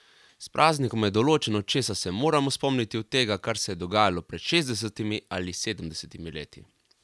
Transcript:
S praznikom je določeno, česa se moramo spomniti od tega, kar se je dogajalo pred šestdesetimi ali sedemdesetimi leti.